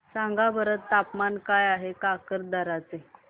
सांगा बरं तापमान काय आहे काकरदरा चे